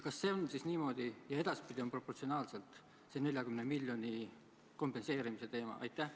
Kas see on siis niimoodi ja edaspidi tuleb proportsionaalselt see 40 miljoni ulatuses kompenseerimine?